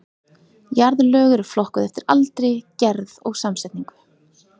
Jarðlög eru flokkuð eftir aldri, gerð og samsetningu.